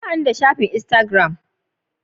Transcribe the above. Ba ni da shafin insagiram.